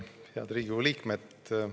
Head Riigikogu liikmed!